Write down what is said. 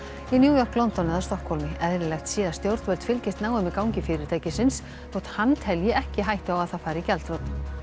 í New York London eða Stokkhólmi eðlilegt sé að stjórnvöld fylgist náið með gangi fyrirtækisins þótt hann telji ekki hættu á að það fari í gjaldþrot